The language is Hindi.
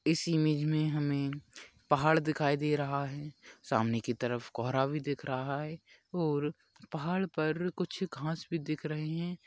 इस इमेज मे हमे पहाड़ दिखाई दे रहा है सामने की तरफ कोहरा भी दिख रहा है और पहाड़ पर कुछ घास भी दिख रहे है।